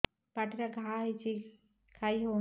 ପାଟିରେ ଘା ହେଇଛି ଖାଇ ହଉନି